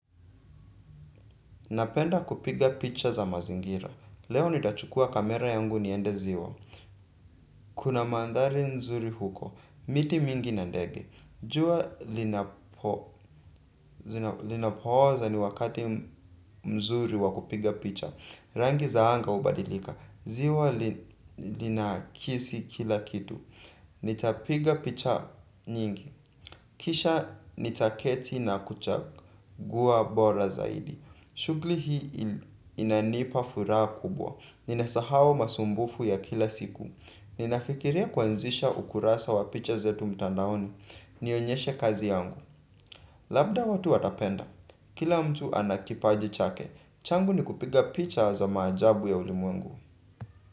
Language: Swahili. Napenda kupiga picha za mazingira. Leo nitachukua camera yangu niende ziwa. Kuna manthari nzuri huko. Miti mingi na ndege. Jua linapooza ni wakati mzuri wakupiga picha. Rangi zaanga hubadilika. Ziwa linakisi kila kitu. Nitapiga picha nyingi. Kisha nitaketi na kuchagua bora zaidi. Shughuli hii inanipa furaha kubwa. Ninasahau masumbufu ya kila siku. Ninafikiria kwanzisha ukurasa wa picha zetu mtandaoni. Nionyeshe kazi yangu. Labda watu watapenda. Kila mtu anakipaji chake. Changu ni kupiga picha za maajabu ya ulimwengu.